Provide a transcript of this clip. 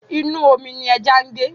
Inú omi ní ẹja ń gbé.